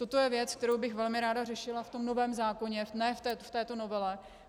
Toto je věc, kterou bych velmi ráda řešila v tom novém zákoně, ne v této novele.